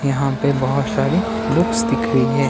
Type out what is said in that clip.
यहाँ पे बहोत सारी बुक्स दिख रही हैं।